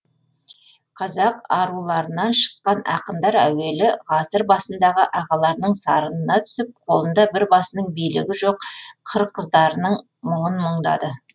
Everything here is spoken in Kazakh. қазақ аруларынан шыққан ақындар әуелі ғасыр басындағы ағаларының сарынына түсіп қолында бір басының билігі жоқ қыр қыздарының мұңын мұңдады